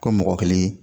Ko mɔgɔ kelen